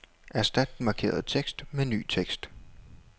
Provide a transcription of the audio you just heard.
Erstat den markerede tekst med ny tekst.